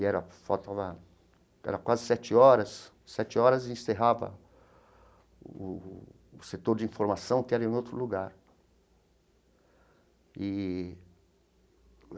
E era faltava era quase sete horas, sete horas encerrava o o setor de informação que era em outro lugar eee.